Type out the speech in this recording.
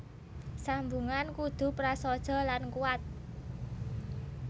Sambungan kudu prasaja lan kuwat